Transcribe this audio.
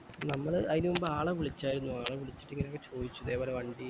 നമ്മള് അയിന് മുമ്പ് ആള വിളിച്ചാരുന്നു ആള വിളിച്ചിട് ഇങ്ങനൊക്കെ ചോതിച്ചു ഇതേ പോലെ വണ്ടി